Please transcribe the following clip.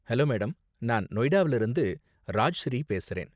Hello madam, நான் நொய்டாவுல இருந்து ராஜ்ஸ்ரீ பேசறேன்.